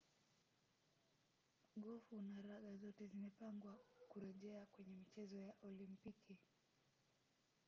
gofu na raga zote zimepangwa kurejea kwenye michezo ya olimpiki